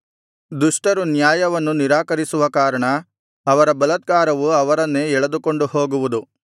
ದುಷ್ಟರು ನ್ಯಾಯವನ್ನು ನಿರಾಕರಿಸುವ ಕಾರಣ ಅವರ ಬಲಾತ್ಕಾರವು ಅವರನ್ನೇ ಎಳೆದುಕೊಂಡು ಹೋಗುವುದು